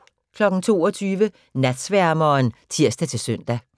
22:00: Natsværmeren (tir-søn)